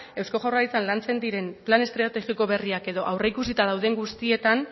eusko jaurlaritzan lantzen diren plan estrategiko berriak edo aurreikusita dauden guztietan